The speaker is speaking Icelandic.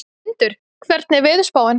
Tindur, hvernig er veðurspáin?